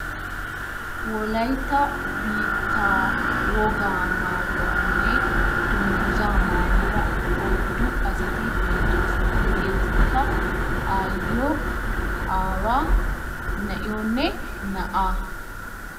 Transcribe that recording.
Wolaytta biittaa woga maayuwaanne dungguza maayidda oyddu asati beettoosona. hegeetikka aayiyo, aawa na7iyoonne na7aa.